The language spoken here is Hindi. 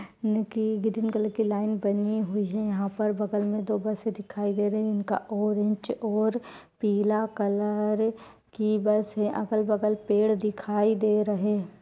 ग्रीन कलर की लाइन बनी हुई है यहाँ पर बगल में दो बसें दिखाए दे रही हैं। इनका ऑरेंज और पीला कलर की बस है। अगल बगल पेड़ दिखाइ दे रहे हैं।